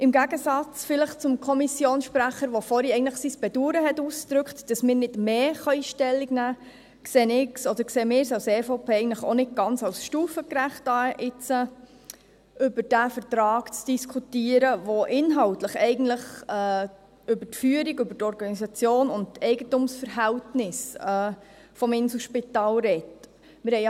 Im Gegensatz zum Kommissionssprecher, der sein Bedauern ausdrückte, dass wir nicht mehr Stellung nehmen können, sehen wir es als EVP als nicht ganz stufengerecht, über diesen Vertrag zu diskutieren, welcher inhaltlich über die Führung, die Organisation und die Eigentumsverhältnisse des Inselspitals spricht.